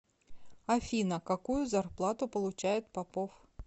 афина какую зарплату получает попов